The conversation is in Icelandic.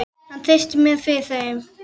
Hann treysti mér fyrir þeim.